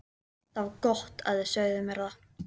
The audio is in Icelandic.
Það var gott að þið sögðuð mér það.